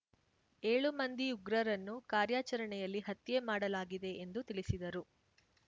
ಏಳು ಮಂದಿ ಉಗ್ರರನ್ನು ಕಾರ್ಯಾಚರಣೆಯಲ್ಲಿ ಹತ್ಯೆ ಮಾಡಲಾಗಿದೆ ಎಂದು ತಿಳಿಸಿದರು